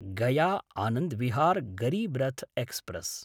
Gaya Anand Vihar Garib Rath express